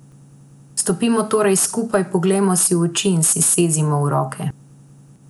Stopimo torej skupaj, poglejmo si v oči in si sezimo v roke.